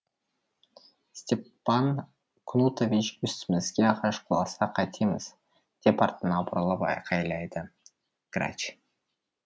степан кнутович үстімізге ағаш құласа қайтеміз деп артына бұрылып айқайлады грач